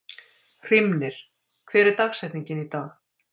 Hrímnir, hver er dagsetningin í dag?